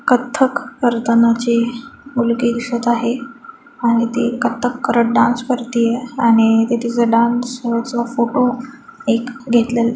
कथ्थक करताना जी मुलगी दिसत आहे आणि ती कथ्थक करत डांस करत आहे आणि ते तिचं डांस सोबत फोटो घेतलेलं--